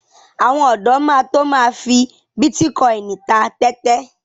Àwọn ọ̀dọ́ máa to my fi bítíkọìnì ta tẹ́tẹ́.